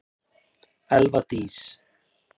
Elva Dís.